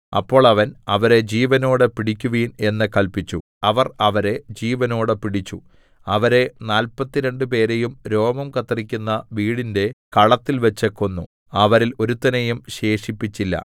അപ്പോൾ അവൻ അവരെ ജീവനോടെ പിടിക്കുവിൻ എന്ന് കല്പിച്ചു അവർ അവരെ ജീവനോടെ പിടിച്ചു അവരെ നാല്പത്തിരണ്ടുപേരെയും രോമം കത്രിക്കുന്ന വീടിന്റെ കളത്തിൽവച്ച് കൊന്നു അവരിൽ ഒരുത്തനെയും ശേഷിപ്പിച്ചില്ല